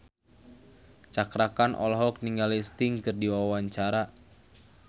Cakra Khan olohok ningali Sting keur diwawancara